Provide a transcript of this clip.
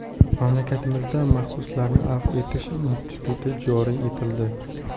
Mamlakatimizda mahbuslarni afv etish instituti joriy etildi.